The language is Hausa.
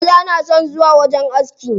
Maza na son zuwa wajen aski.